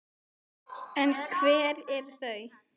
En hver eru þau?